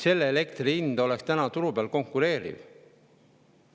Selle elektri hind oleks turul konkureeriv.